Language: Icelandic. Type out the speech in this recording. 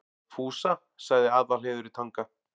Fúsa, sagði Aðalheiður í Tanga.